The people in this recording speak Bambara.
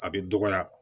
A bɛ dɔgɔya